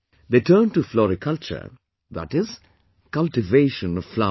They turned to floriculture, that is, the cultivation of flowers